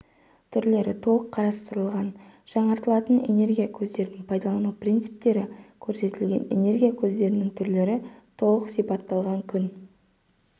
түрлері толық қарастырылған жаңартылатын энергия көздерін пайдалану принциптері көрсетілген энергия көздерінің түрлері толық сипатталған күн